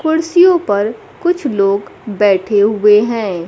कुर्सियों पर कुछ लोग बैठे हुए हैं।